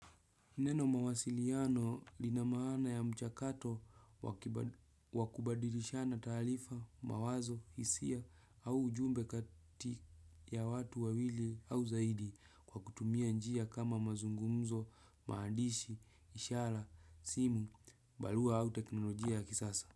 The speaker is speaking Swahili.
Neno mawasiliano lina maana ya mchakato wakubadilishana talifa, mawazo, hisia au ujumbe kati ya watu wawili au zaidi kwa kutumia njia kama mazungumzo, maandishi, ishara, simu, balua au teknolojia ya kisasa.